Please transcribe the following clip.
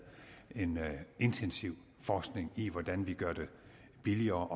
en intensiv forskning i hvordan vi gør det billigere